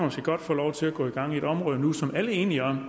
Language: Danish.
få lov til at gå i gang i et område nu som alle er enige om